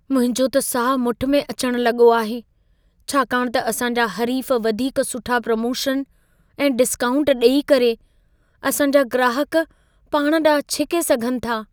मुंहिंजो त साहु मुठि में अचणु लॻो आहे, छाकाणि त असां जा हरीफ़ वधीक सुठा प्रोमोशन ऐं डिस्काऊंट ॾेई करे असां जा ग्राहक पाण ॾांहुं छिके सघनि था।